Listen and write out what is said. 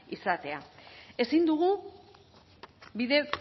izatea ezin dugu bide